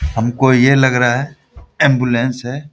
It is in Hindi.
हमको ये लग रहा है एंबुलेंस है।